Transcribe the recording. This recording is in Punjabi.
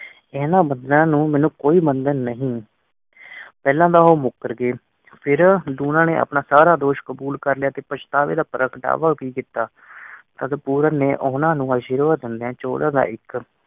ਇਹਨਾਂ ਨੂੰ ਮੈਨੂੰ ਕੋਈ ਬੰਧਨ ਨਹੀਂ। ਪਹਿਲਾਂ ਤਾ ਓ ਮੁਕਰ ਗਏ ਫਿਰ ਲੂਣਾ ਨੇ ਆਪਣਾ ਸਾਰਾ ਦੋਸ਼ ਕਬੂਲ ਕਰ ਲਿਆ ਅਤੇ ਪਛਤਾਵੇ ਦਾ ਪ੍ਰਗਟਾਵਾ ਵੀ ਕੀਤਾ ਤਦ ਪੂਰਨ ਨੇ ਓਹਨਾ ਨੂੰ ਅਸ਼ੀਰਵਾਦ ਦਿੰਦੇ ਦਾ ਇਕ